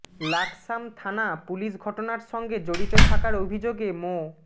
লাকসাম থানা পুলিশ ঘটনার সঙ্গে জড়িত থাকার অভিযোগে মো